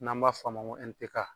N'an ba f'a ma ko N P K.